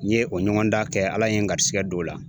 N ye o ɲɔgɔndan kɛ Ala ye n garisɛgɛ don o la